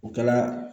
O kɛla